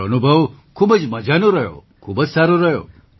મારો અનુભવ ખૂબ જ મજાનો રહ્યો ખૂબ જ સારો રહ્યો